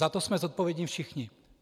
Za to jsme zodpovědni všichni.